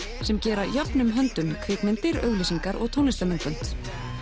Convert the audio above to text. sem gera jöfnum höndum kvikmyndir auglýsingar og tónlistarmyndbönd